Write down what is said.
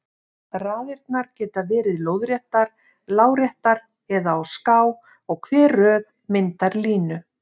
Raðirnar geta verið lóðréttar, láréttar eða á ská og hver röð myndar línu.